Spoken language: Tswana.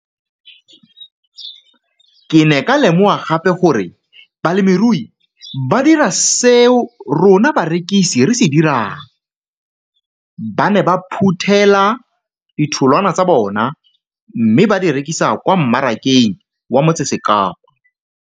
Ke ne ka lemoga gape gore balemirui ba dira seo rona barekisi re se dirang ba ne ba phuthela ditholwana tsa bona mme ba di rekisa kwa marakeng wa Motsekapa.